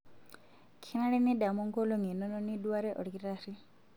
Kenare nidamu nkolong'I inono niduarie olkitarri.